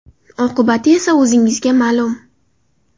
Oqibati esa o‘zingizga ma’lum.